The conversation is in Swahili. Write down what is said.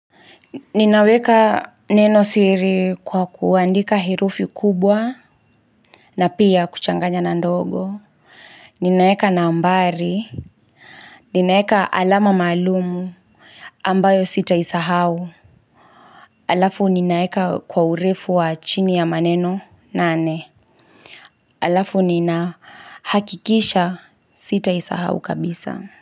Ninaweka neno siri kwa kuandika herufi kubwa na pia kuchanganya na ndogo Ninaeka nambari, ninaeka alama maalumu ambayo sitaisahau Alafu ninaeka kwa urefu wa chini ya maneno nane Alafu ninahakikisha sitaisahau kabisa.